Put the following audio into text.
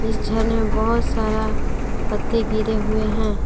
इस झरने में बहुत सारा पत्ते गिरे हुए हैं।